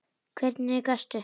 Og hvernig gastu.?